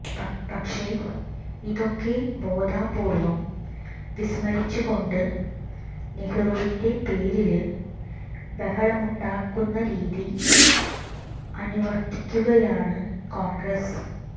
പക്ഷേ ഇതൊക്കെ ബോധപൂര്വം വിസ്മരിച്ചുകൊണ്ട് നെഹ്റുവിന്റെ പേരില് ബഹളമുണ്ടാക്കുന്ന രീതി അനുവര്ത്തിക്കുകയാണ് കോണ്ഗ്രസ്സ്